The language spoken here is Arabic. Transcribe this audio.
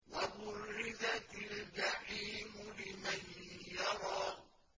وَبُرِّزَتِ الْجَحِيمُ لِمَن يَرَىٰ